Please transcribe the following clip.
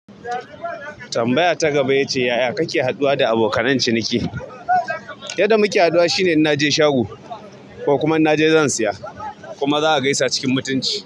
Tambaya ta gaba ya ce, yaya kake haɗuwa da abokan ciniki? Yadda muke haɗuwa shine in naje shago ko kuma naje zan siya kuma za a gaisa cikin mutunci.